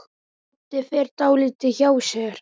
Doddi fer dálítið hjá sér.